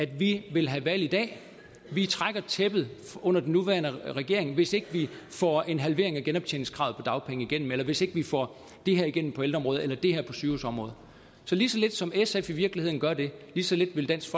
vi vil have valg i dag vi trækker tæppet under den nuværende regering hvis ikke vi får en halvering af genoptjeningskravet på dagpenge igennem eller hvis ikke vi får det her igennem på ældreområdet eller det her sygehusområdet så lige så lidt som sf i virkeligheden gør det lige så lidt vil dansk